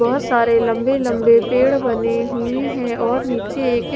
बहुत सारे लंबे लंबे पेड़ बने हुए हैं और नीचे एक--